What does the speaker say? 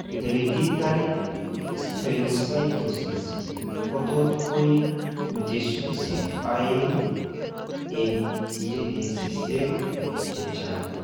Hereditary spherocytosis kotot koib mutations eng' aeng'e eng' genisiek chechang'